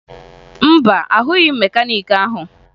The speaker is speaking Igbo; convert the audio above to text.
Mba, ahụghị m mekaniiki ahụ